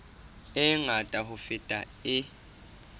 e ngata ho feta e